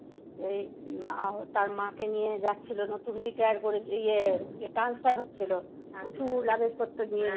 এই মা, তার মাকে নিয়ে যাচ্ছিল। নতুন retire করে, ইয়ে, transfer হচ্ছিল। প্রচুর luggage পত্র নিয়ে।